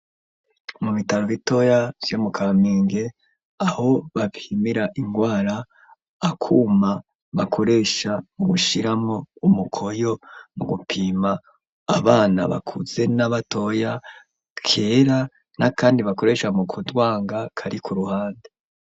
Mu bitaro bitoya vyo mu Kamenge, aho bapimira ingwara, akuma bakoresha mu gushiramwo umukoyo, mu gupima abana bakuze na batoya, kera n'akandi bakoresha mu kudwanga, kari ku ruhande.